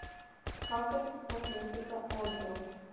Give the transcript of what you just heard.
хакаскосметика отзывы